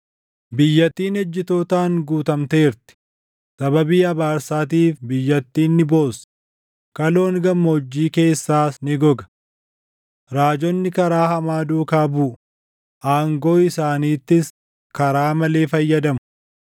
Biyyattiin ejjitootaan guutamteerti, sababii abaarsaatiif biyyattiin ni boossi; kaloon gammoojjii keessaas ni goga. Raajonni karaa hamaa duukaa buʼu; aangoo isaaniittis karaa malee fayyadamu.